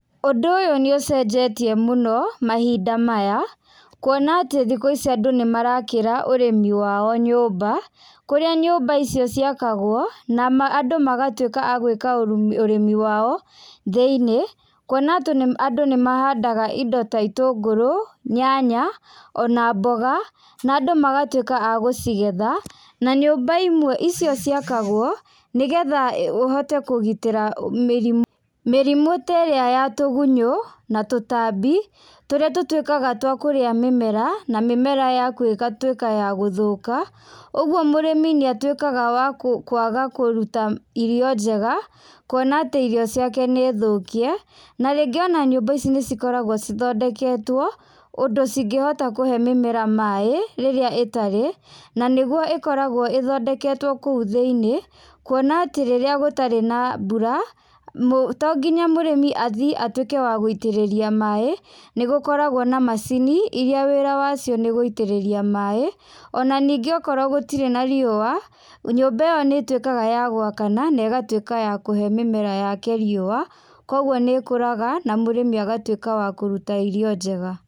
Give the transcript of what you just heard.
Ũndũ ũyũ nĩ ũcenjetie mũno, mahinda maya, kuona atĩ thikũ ici andũ nĩ marakĩra ũrĩmi wao nyũmba, kũrĩa nyũmba icio ciakagwo, na andũ magatuĩka a gwĩka ũrĩmi wao, thĩiniĩ. Kuona atĩ nĩ andũ nĩ mahandaga indo ta itũngũrũ, nyanya, ona mboga, na andũ magatuĩka a gũcigetha, na nyũmba imwe icio ciakagwo, nĩgetha ũhote kũgitĩra mĩrĩmũ. Mĩrimũ ta ĩrĩa ya tũgunyũ, na tũtambi, tũrĩa tũtuĩkaga twa kũrĩa mĩmera, na mĩmera yaku ũgatuĩka ya gũthũka. Ũguo mũrĩmi nĩ a tuĩkaga wakũ wakũaga kũruta irio njega, kuona atĩ irio ciake nĩ thũkie, na rĩngĩ ona nyũmba ici nĩ cikoragwo cithondeketuo ũndũ cingĩhota kũhe mĩmera maĩ, rĩrĩa ĩtarĩ, na nĩguo ĩkoragwo ĩthondeketwo kũu thĩinĩ, kuona atĩ rĩrĩa gũtarĩ na mbura, to nginya mũrĩmi athiĩ atuĩke wa guitĩrĩria maĩ, nĩ gũkoragwo na macini, iria wĩra wacio nĩ gũitĩrĩria maĩ, ona ningĩ okorwo gũtirĩ na riũa, nyũmba ĩyo nĩtuĩkaga ya gwakana, na ĩgatuĩka ya kũhe mĩmera yake riua, koguo nĩ ikũraga, na mũrĩmi agatuĩka wa kũruta irio njega.